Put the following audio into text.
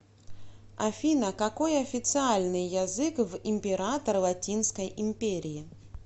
афина какой официальный язык в император латинской империи